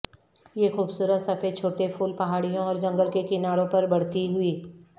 یہ خوبصورت سفید چھوٹے پھول پہاڑیوں اور جنگل کے کناروں پر بڑھتی ہوئی